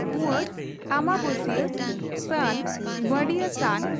ᱩᱣᱟᱹᱥ / ᱟᱢᱵᱟᱵᱟᱹᱥᱤᱭᱟᱹ ᱵᱹ ᱥᱟᱱ ᱺ ᱵᱟᱹᱰᱤᱭᱟᱹ ᱥᱟᱱ